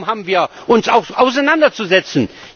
Darum haben wir uns auch auseinanderzusetzen.